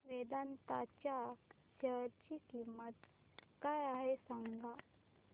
वेदांत च्या शेअर ची किंमत काय आहे सांगा